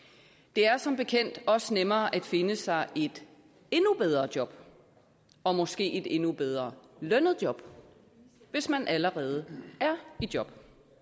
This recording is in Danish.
det er som bekendt også nemmere at finde sig et endnu bedre job og måske et endnu bedre lønnet job hvis man allerede er i job